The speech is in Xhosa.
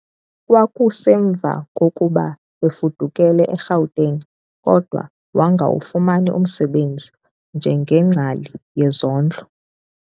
Kwakusemva kokuba efudukele e-Gauteng kodwa wangawufumani umsebenzi njengengcali yezondlo.